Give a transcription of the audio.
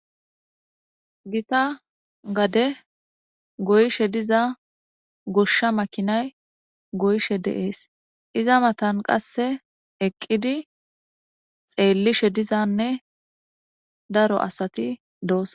Gita gade goyshe diza goshsha makinay goyshe deees iza matan qasse eqqidi xeellishe dizanne daro asati doos.